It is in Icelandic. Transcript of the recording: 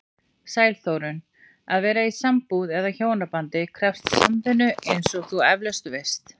Sæl Þórunn, að vera í sambúð eða hjónabandi krefst samvinnu eins og þú efalaust veist.